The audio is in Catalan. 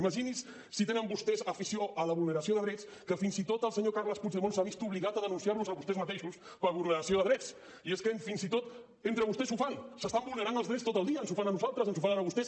imagini’s si tenen vostès afi·ció a la vulneració de drets que fins i tot el senyor carles puigdemont s’ha vist obli·gat a denunciar·los a vostès mateixos per vulneració de drets i és que fins i tot entre vostès ho fan s’estan vulnerant els drets tot el dia ens ho fan a nosaltres s’ho fan a vostès